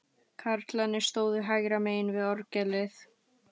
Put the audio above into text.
Karlarnir stóðu hægra megin við orgelið.